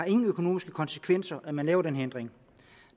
ingen økonomiske konsekvenser at man laver den her ændring